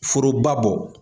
Foroba bɔ.